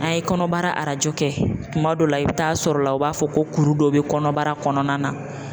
An ye kɔnɔbara arajo kɛ kuma dɔw la i bɛ taa sɔrɔ la u b'a fɔ ko kuru dɔ bɛ kɔnɔbara kɔnɔna na.